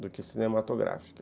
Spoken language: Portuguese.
do que cinematográfica.